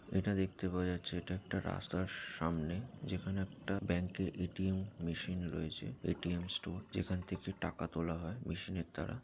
এটা দেখতে পাওয়া যাচ্ছে এটা একটা রাস্তার সাআমনেঃ যেখানে একটা ব্যাঙ্কের এ.টি.এম মেশিন রয়েছে এ.টি.এম. স্টোর যেখান থেকে টাকা তোলা হয় মেশিন এর দ্বারা |